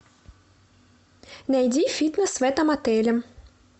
найди фитнес в этом отеле